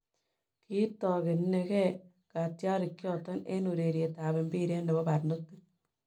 Kiitogene geh katyarik choton en ureriet ab mpiret nebo barnotik